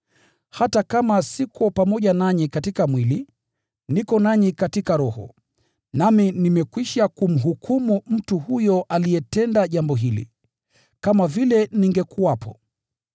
Hata kama siko pamoja nanyi katika mwili, niko nanyi katika roho. Nami nimekwisha kumhukumu mtu huyo aliyetenda jambo hili, kama vile ningekuwepo.